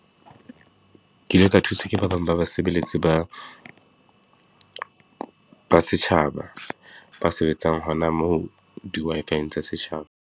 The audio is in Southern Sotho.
Ke ile ka thuswa ke ba bang ba basebeletsi ba, ba setjhaba ba sebetsang hona moo di-Wi-Fi-eng tsa setjhaba.